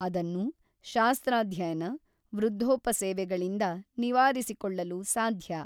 ಅದನ್ನು ಶಾಸ್ತ್ರಾಧ್ಯಯನ ವೃದ್ಧೋಪಸೇವೆಗಳಿಂದ ನಿವಾರಿಸಿಕೊಳ್ಳಲು ಸಾಧ್ಯ.